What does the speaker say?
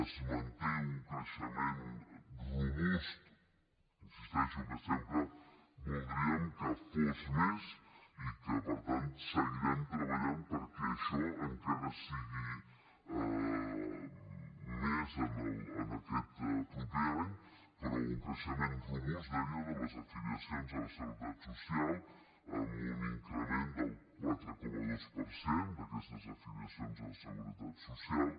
es manté un creixement robust i insisteixo que sempre voldríem que fos més i que per tant seguirem treballant perquè això encara sigui més en aquest proper any però un creixement robust deia de les afiliacions a la seguretat social amb un increment del quatre coma dos per cent d’aquestes afiliacions a la seguretat social